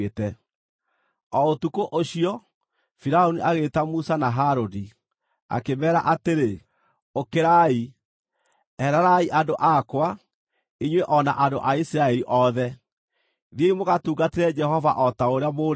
O ũtukũ ũcio, Firaũni agĩĩta Musa na Harũni, akĩmeera atĩrĩ, “Ũkĩrai! Ehererai andũ akwa, inyuĩ o na andũ a Isiraeli othe! Thiĩi mũgatungatĩre Jehova o ta ũrĩa mũũrĩtie.